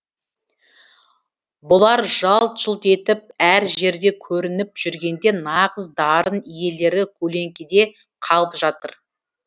бұлар жалт жұлт етіп әр жерде көрініп жүргенде нағыз дарын иелері көлеңкеде қалып жатыр